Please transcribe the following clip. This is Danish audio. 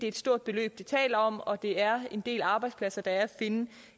et stort beløb vi taler om og det er en del arbejdspladser der er at finde